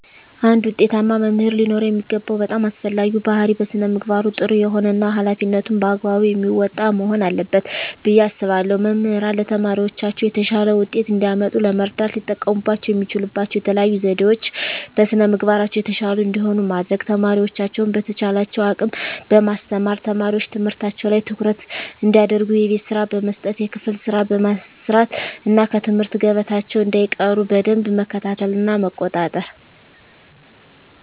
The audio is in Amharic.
አንድ ውጤታማ መምህር ሊኖረው የሚገባው በጣም አስፈላጊው ባህሪይ በስነ ምግባሩ ጥሩ የሆነ እና ሀላፊነቱን በአግባቡ የሚወጣ መሆን አለበት ብየ አስባለሁ። መምህራን ለተማሪዎቻቸው የተሻለ ውጤት እንዲያመጡ ለመርዳት ሊጠቀሙባቸው የሚችሉባቸው የተለዩ ዘዴዎች - በስነ ምግባራቸው የተሻሉ እንዲሆኑ ማድረግ፣ ተማሪዎቻቸውን በተቻላቸው አቅም በማስተማር፣ ተማሪዎች ትምህርታቸው ላይ ትኩረት እንዲያደርጉ የቤት ስራ በመስጠት የክፍል ስራ በማሰራት እና ከትምህርት ገበታቸው እንዳይቀሩ በደንብ መከታተልና መቆጣጠር።